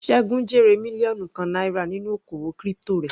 Segun jèrè mílíọ̀nù kan náírà nínú oko òwò crypto rẹ̀.